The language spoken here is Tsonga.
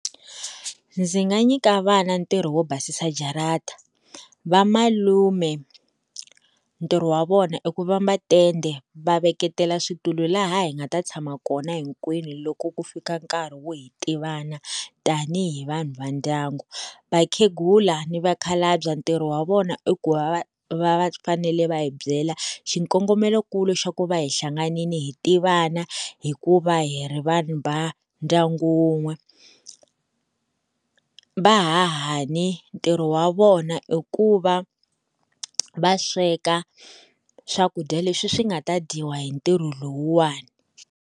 Ndzi nga nyika vana ntirho wo basisa jarata vamalume ntirho wa vona i ku vamba tende va veketela switulu laha hi nga ta tshama kona hinkwenu loko ku fika nkarhi wo hi tivana tanihi vanhu va ndyangu, vakhegula ni vakhalabya ntirho wa vona i ku va va fanele va hi byela xikongomelokulu xa ku va hi hlanganini hi tivana hikuva hi ri vanhu va ndyangu wun'we vahahani ntirho wa vona i ku va va sweka swakudya leswi swi nga ta dyiwa hi ntirho lowuwani.